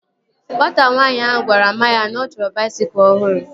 Nwata nwaanyị ahụ gwara mma ya na ọ chọrọ baisikụl ọhụrụ